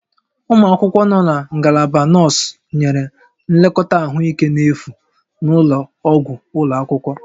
Ụmụ akwụkwọ nọ na Ngalaba Nọọsụ nyere nlekọta ahụike n'efu na ụlọ ọgwụ ụlọ akwụkwọ